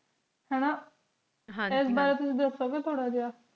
ਹਨ ਨਾ ਐਸ ਬਾਰੇ ਵਿਚ ਦੱਸੋ ਗੇ ਥੋੜ੍ਹਾ ਜਯਾ